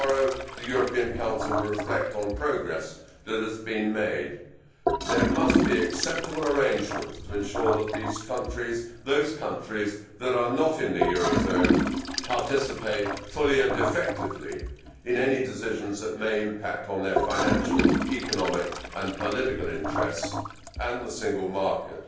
Tomorrow, the European Council will reflect on progress which has been made. There must be acceptable arrangements to ensure that those countries that are not in the euro zone participate fully and effectively in any decisions that may impact on their financial, economic and political interests and the single market.